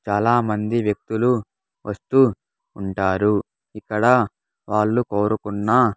చాలామంది వ్యక్తులు వస్తూ ఉంటారు ఇక్కడ వాళ్ళు కోరుకున్న.